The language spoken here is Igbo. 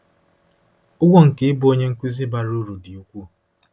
Ụgwọ nke ịbụ onye nkuzi bara uru dị ukwuu.